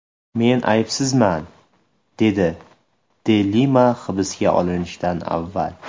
Men aybsizman”, dedi de Lima hibsga olinishidan avval.